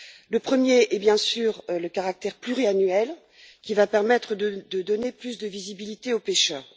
Le premier est, bien sûr, le caractère pluriannuel, qui va permettre de donner plus de visibilité aux pêcheurs.